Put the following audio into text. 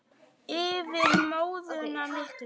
Yfir móðuna miklu.